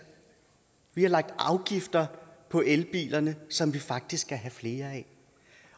vi har lagt afgifter på elbilerne som vi faktisk gerne vil have flere af